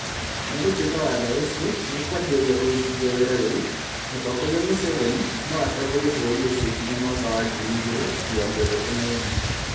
Nĩgũtuĩka watho ũcio nĩũkwanjĩrĩria kũrutithio wĩra rĩu, mũtongoria Museveni noatongorie bũrũri ũcio nginya mwaka wa ngiri igĩrĩ mĩrongo ĩtatũ na ĩmwe